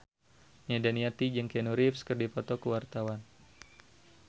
Nia Daniati jeung Keanu Reeves keur dipoto ku wartawan